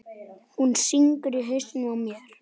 Hún syngur í hausnum á mér.